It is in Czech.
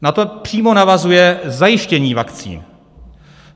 Na to přímo navazuje zajištění vakcín.